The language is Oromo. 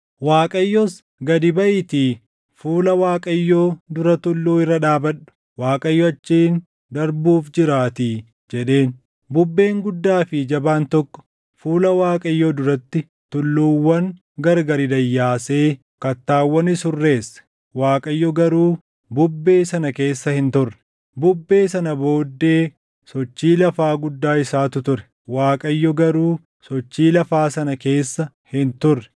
Waaqayyos, “Gadi baʼiitii fuula Waaqayyoo dura tulluu irra dhaabadhu; Waaqayyo achiin darbuuf jiraatii” jedheen. Bubbeen guddaa fi jabaan tokko fuula Waaqayyoo duratti tulluuwwan gargari dayyaasee kattaawwanis hurreesse; Waaqayyo garuu bubbee sana keessa hin turre. Bubbee sana booddee sochii lafaa guddaa isaatu ture; Waaqayyo garuu sochii lafaa sana keessa hin turre.